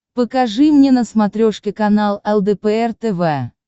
покажи мне на смотрешке канал лдпр тв